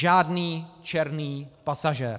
Žádný černý pasažér.